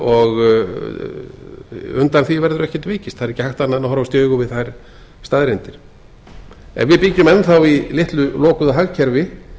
og undan því verður ekkert vikist það er ekki hægt annað en að horfast í augu við þær staðreyndir ef við byggjum enn í litlu lokuðu hagkerfi